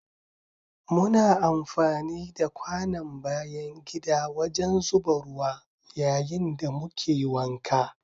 Muna amfani da kwanon bayan gida wajen zuba ruwa yayin da muke wanka.